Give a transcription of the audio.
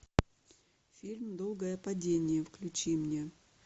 фильм долгое падение включи мне